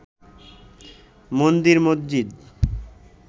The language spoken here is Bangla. মন্দির মসজিদ